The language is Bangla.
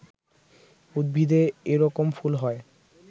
উদ্ভিদে এরকম ফুল হয়